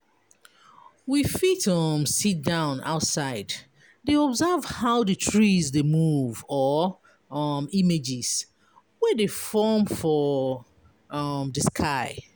We fit um sit-down outside dey observe how di trees de move or um images wey de form for um di sky